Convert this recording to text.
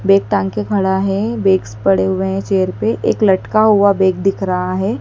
Bag टांग के खड़ा है बेक्स पड़े हुए है चेयर पे एक लटका हुआ बैग दिख रहा है।